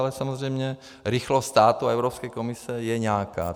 Ale samozřejmě rychlost státu a Evropské komise je nějaká.